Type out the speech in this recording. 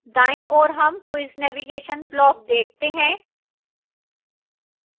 दाईं ओर हम quiz navigation block देखते हैं